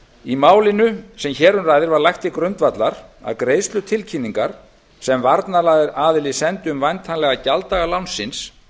í málinu sem hér um ræðir var lagt til grundvallar að greiðslutilkynningar sem varnaraðili sendi um væntanlega gjalddaga lánsins